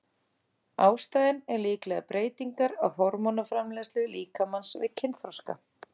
Ástæðan er líklega breytingar á hormónaframleiðslu líkamans við kynþroska.